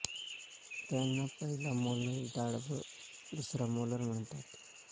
त्यांना पहिला मोलर दाढ व दुसरा मोलर म्हणतात